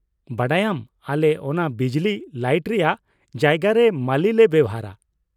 ᱵᱟᱰᱟᱭᱟᱢ, ᱟᱞᱮ ᱚᱱᱟ ᱵᱤᱡᱞᱤ ᱞᱟᱹᱭᱤᱴ ᱨᱮᱭᱟᱜ ᱡᱟᱭᱜᱟ ᱨᱮ ᱢᱟᱹᱞᱤ ᱞᱮ ᱵᱮᱣᱦᱟᱨᱟ ᱾